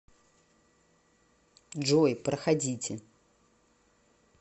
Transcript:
джой проходите